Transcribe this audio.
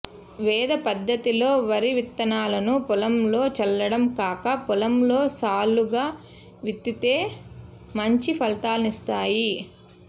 వెద పద్ధతిలో వరి విత్తనాలను పొలంలో చల్లడం కాక పొలంలో సాళ్లుగా విత్తితే మంచి ఫలితాలనిస్తాయి